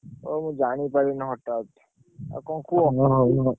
ଓ! ମୁଁ ଜାଣିପାଇଲିନି ହଠାତ୍। ଆଉ କଣ କୁହ।